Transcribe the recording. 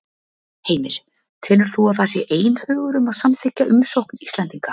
Heimir: Telur þú að það sé einhugur um að samþykkja umsókn Íslendinga?